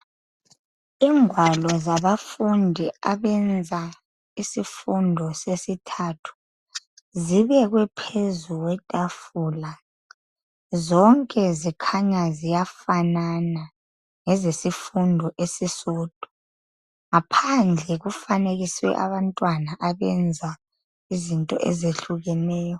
Ingwalo zabafundi abenza isifundo sesithathu zibekwe phezu kwetafula zonke zikhanya ziyafanana ngezesifundo esisodwa ngaphandle kufanekiswe abantwana abenza izinto ezehlukeneyo.